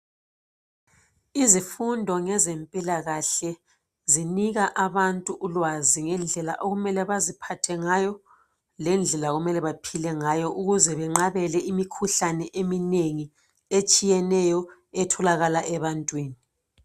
Izifundo ngezempilakahle zinika abantu ulwazi ngezidlela okumele baziphathe ngayo lendlela okumele baphile ngayo ukuze benqabele imikhuhlane eminengi etshiyeneyo etholakala ebantwini.